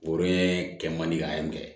Woroɲɛ kɛ man di ka kɛ